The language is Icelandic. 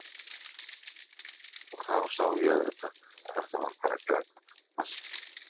Og þá sá ég auðvitað að þetta var bara grænn maski.